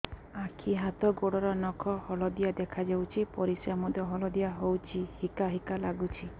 ଆଖି ହାତ ଗୋଡ଼ର ନଖ ହଳଦିଆ ଦେଖା ଯାଉଛି ପରିସ୍ରା ମଧ୍ୟ ହଳଦିଆ ହଉଛି ହିକା ହିକା ଲାଗୁଛି